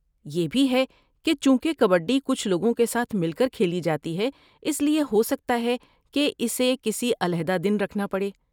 یہ بھی ہے کہ چونکہ کبڈی کچھ لوگوں کے ساتھ مل کر کھیلی جاتی ہے اس لیے ہو سکتا ہے کہ اسے کسی علیحدہ دن رکھنا پڑے۔